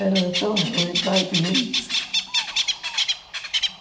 Era tão ruim para a gente.